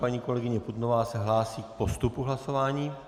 Paní kolegyně Putnová se hlásí k postupu hlasování.